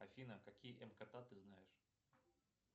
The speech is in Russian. афина какие мкт ты знаешь